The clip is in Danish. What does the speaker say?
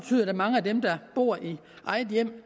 at mange af dem der bor i eget hjem